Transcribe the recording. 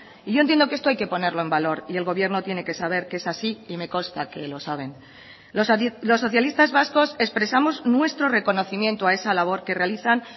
y yo entiendo que esto hay que ponerlo en valor y el gobierno tiene que saber que es así y me consta que lo saben los socialistas vascos expresamos nuestro reconocimiento a esa labor que realizan